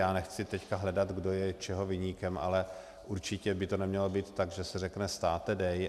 Já nechci teď hledat, kdo je čeho viníkem, ale určitě by to nemělo být tak, že se řekne: státe, dej!